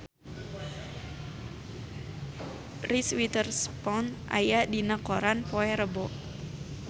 Reese Witherspoon aya dina koran poe Rebo